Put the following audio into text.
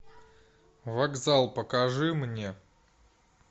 вокзал покажи мне